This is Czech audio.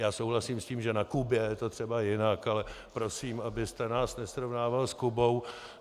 Já souhlasím s tím, že na Kubě je to třeba jinak, ale prosím, abyste nás nesrovnával s Kubou.